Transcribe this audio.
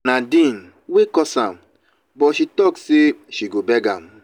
na nadine wey cause am but she talk say she go beg am.